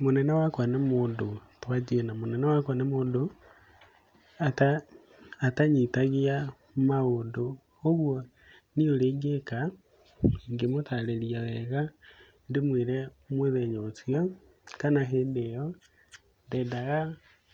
Mũnene wakwa nĩ mũndũ, twanjie na, mũnene wakwa nĩ mũndũ, atanyitagia maũndũ, ũguo niĩ ũrĩa ingĩka, ingĩmũtarĩria wega, ndĩmwĩre mũthenya ũcio, kana hĩndĩ ĩyo, ndendaga